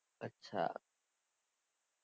અચ્છા